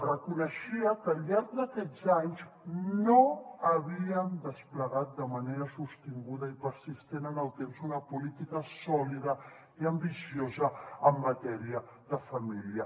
reconeixia que al llarg d’aquests anys no havien desplegat de manera sostinguda i persistent en el temps una política sòlida i ambiciosa en matèria de família